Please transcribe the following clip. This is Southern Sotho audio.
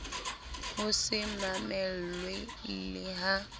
ho se mamelwe le ha